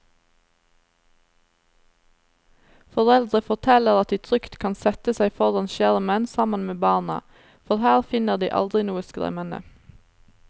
Foreldre forteller at de trygt kan sette seg foran skjermen sammen med barna, for her finner de aldri noe skremmende.